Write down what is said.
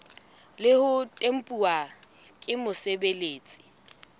le ho tempuwa ke mosebeletsi